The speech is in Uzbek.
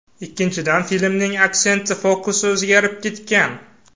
Ikkinchidan, filmning aksenti, fokusi o‘zgarib ketgan.